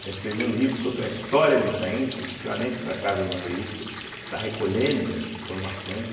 quer escrever um livro sobre a história do Itaim, especificamente da Casa Bandeiristas, está recolhendo informações.